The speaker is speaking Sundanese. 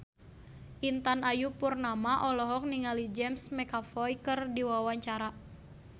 Intan Ayu Purnama olohok ningali James McAvoy keur diwawancara